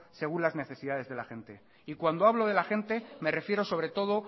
según las necesidades de la gente y cuando hablo de la gente me refiero sobre todo